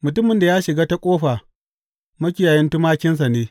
Mutumin da ya shiga ta ƙofa makiyayin tumakinsa ne.